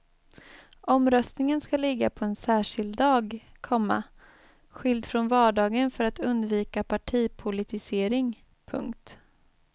Omröstningen ska ligga på en särskild dag, komma skild från valdagen för att undvika partipolitisering. punkt